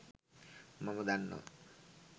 මම දන්නව.